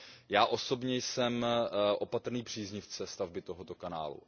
Já osobně jsem opatrný příznivce stavby tohoto kanálu.